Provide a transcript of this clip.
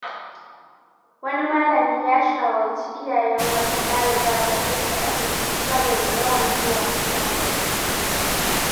Wani malami ya shawarci iyayen wata ɗaliba da kai ta asibiti, saboda yawan zuwa fitsari.